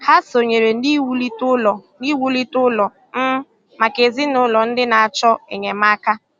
Hà sọnyèrè n’iwùlite ụlọ̀ n’iwùlite ụlọ̀ um maka ezinụlọ̀ ndị na-achọ enyemáka.